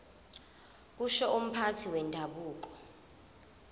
kusho umphathi wendabuko